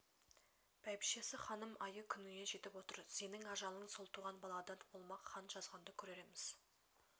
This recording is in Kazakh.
бәйбішесі ханым айы-күніне жетіп отыр сенің ажалың сол туған баладан болмақ хан жазғанды көрерміз